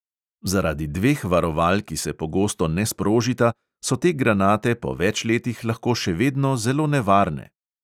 Zaradi dveh varoval, ki se pogosto ne sprožita, so te granate po več letih lahko še vedno zelo nevarne!